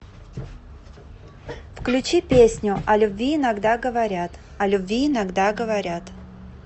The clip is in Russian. включи песню о любви иногда говорят о любви иногда говорят